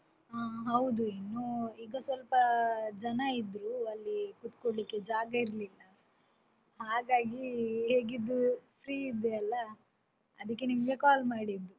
ಹ ಹೌದು, ಇನ್ನೂ ಈಗ ಸ್ವಲ್ಪ ಜನ ಇದ್ರು, ಅಲ್ಲಿ ಕುತ್ಕೊಳ್ಳಿಕೆ ಜಾಗ ಇರ್ಲಿಲ್ಲ ಹಾಗಾಗಿ ಹೇಗಿದ್ರು free ಇದ್ದೆ ಅಲಾ ಅದಕ್ಕೆ ನಿಮ್ಗೆ call ಮಾಡಿದ್ದು.